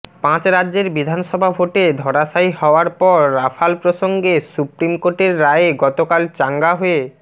পাঁচ রাজ্যের বিধানসভা ভোটে ধরাশায়ী হওয়ার পর রাফাল প্রসঙ্গে সুপ্রিম কোর্টের রায়ে গতকাল চাঙ্গা হয়ে